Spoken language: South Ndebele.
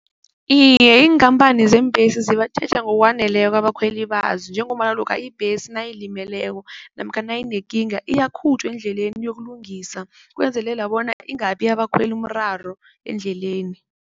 Iye, iinkhamphani zeembesi zibatjheja ngokwaneleko abakhweli bazo njengombana lokha ibhesi nayilimeleko namkha nayinekinga iyakhutjhwa endleleni iyokulungiswa ukwenzelela bona ingaphi abakhweli umraro endleleni.